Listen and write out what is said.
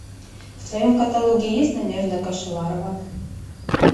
в твоем каталоге есть надежда кашеварова